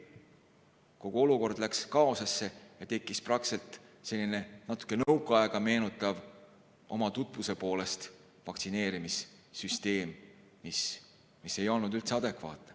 Kogu olukord läks kaosesse ja tekkis praktiliselt selline natuke nõukaaega meenutav tutvuse poolest vaktsineerimise süsteem, mis ei olnud üldse adekvaatne.